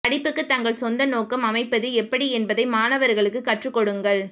படிப்புக்கு தங்கள் சொந்த நோக்கம் அமைப்பது எப்படி என்பதை மாணவர்களுக்கு கற்றுக்கொடுங்கள்